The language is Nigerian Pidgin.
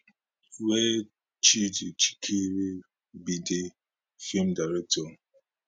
wey chidi chikere be di feem director